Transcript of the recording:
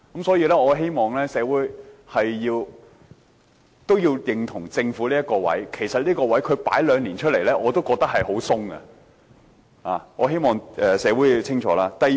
所以，我希望社會認同政府這個觀點，其實同居兩年的要求，我已經覺得十分寬鬆，我希望社會清楚這一點。